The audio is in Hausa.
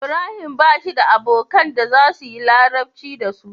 Ibrahim bashi da abokan da zasuyi larabci dasu